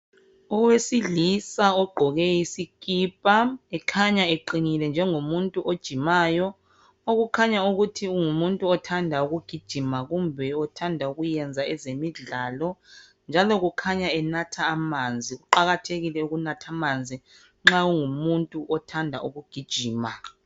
Owesilisa ogqoke isikipa, ekhanya eqinile njengomuntu ojimayo, okukhanya ukuthi ngumuntu othanda ukugijima kumbe othanda ukwenza ezemidlalo, njalo kukhanya enatha amanzi. Kuqakathekile ukunatha amanzi nxa ungumuntu othanda ukugijima.